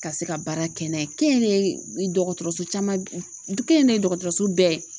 Ka se ka baara kɛ n'a ye kɛnyɛrɛye , dɔgɔtɔrɔso caman kɛnyɛrɛye dɔgɔtɔrɔso bɛɛ